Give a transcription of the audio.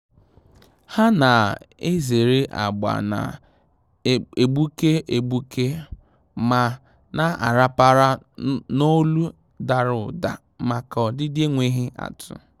Há nà-èzèrè agba nà-égbùké égbùké ma nà-àràpàrà n’ólù dàrà ụ́dà màkà ọdịdị énwéghị́ átụ́.